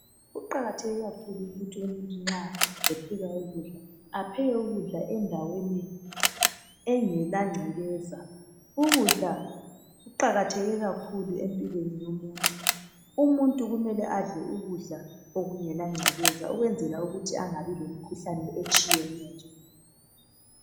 Kuqakatheke kakhulu ukuthi umuntu nxa epheka ukudla apheke ukudla endaweni engelangcekeza. Ukudla kuqakatheke kakhulu empilweni yomuntu. Umuntu kumele adle ukudla okungalangcekeza, Ukwenzela ukuthi angabi lemikhuhlane etshiyeneyo.